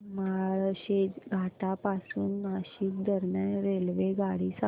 माळशेज घाटा पासून नाशिक दरम्यान रेल्वेगाडी सांगा